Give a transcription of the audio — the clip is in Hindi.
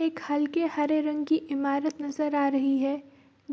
एक हलके हरे रंग की ईमारत नजर आ रही है